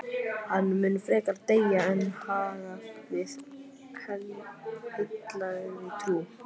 Hann mun frekar deyja en hagga við heilagri trú.